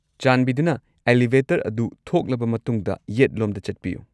ꯆꯥꯟꯕꯤꯗꯨꯅ ꯑꯦꯂꯤꯚꯦꯇꯔ ꯑꯗꯨ ꯊꯣꯛꯂꯕ ꯃꯇꯨꯡꯗ ꯌꯦꯠꯂꯣꯝꯗ ꯆꯠꯄꯤꯌꯨ꯫